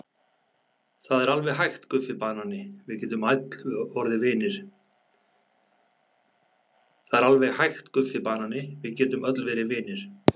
Það er alveg hægt Guffi banani, við getum öll verið vinir.